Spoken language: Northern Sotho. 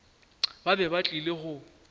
ba be ba tlile go